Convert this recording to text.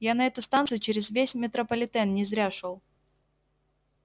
я на эту станцию через весь метрополитен не зря шёл